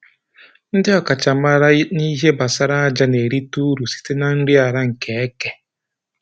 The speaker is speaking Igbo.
Ndị ọkachamara n'ihe banyere aja na-erita uru site na nri ala nke eke